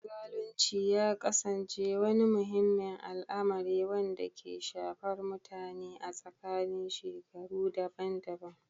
Zalunci ya ƙasance wani muhimmin al'amari, wanda ke shafar mutane a tsakanin shekaru daban-daban